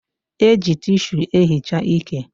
E ji tishu e hichaa ike